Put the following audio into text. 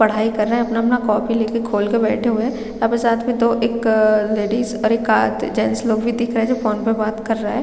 पढाई कर रहै है अपना अपना कॉपी लेके खोल के बैठे हुए है आप साथ में दो एक लेडीस एक आद जेंट्स लोग भी दिख रहै है जो फ़ोन पे बात कर रहै है।